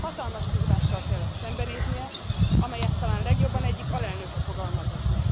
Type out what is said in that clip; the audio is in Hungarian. hatalmas kihívással kellett szembenéznie, amelyet talán legjobban egyik alelnöke fogalmazott meg.